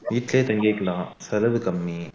வீட்லயே தங்கிக்கலாம் செலவு கம்மி